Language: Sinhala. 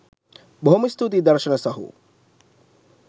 බොහොම ස්තූතියි දර්ශන සහෝ